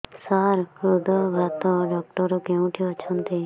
ସାର ହୃଦଘାତ ଡକ୍ଟର କେଉଁଠି ଅଛନ୍ତି